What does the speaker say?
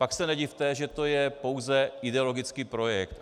Pak se nedivte, že to je pouze ideologický projekt.